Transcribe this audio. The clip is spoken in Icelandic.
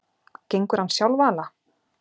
Gengur hann sjálfala?